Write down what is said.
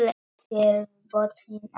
Sérðu botninn á þeim.